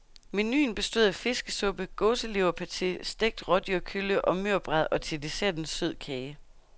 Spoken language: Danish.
Menuen bestod af fiskesuppe, gåseleverpate, stegt rådyrkølle og mørbrad og til dessert en sød kage.